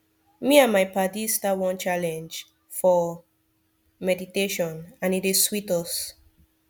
me and my paddies start one challenge for wait meditationand e dey sweet us